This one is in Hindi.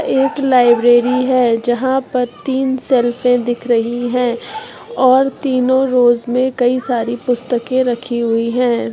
एक लाइब्रेरी है जहाँ पर तीन सेल्फे रही है और तीनो रोज में कई सारी पुस्तके रखी हुई हैं।